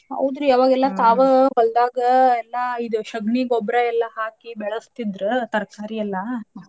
ಹೌದ್ರಿ ಅವಾಗೆಲ್ಲಾ ತಾವ ಹೊಲದಾಗ ಎಲ್ಲಾ ಇದ ಶೆಗಣಿ ಗೊಬ್ಬರಾ ಎಲ್ಲಾ ಹಾಕಿ ಬೆಳಸ್ತೀದ್ರ ತರಕಾರಿ ಎಲ್ಲಾ.